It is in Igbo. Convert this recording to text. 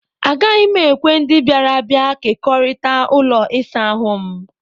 Agaghị m ekwe ndị bịara abịa kekọrịta ụlọ ịsa ahụ m.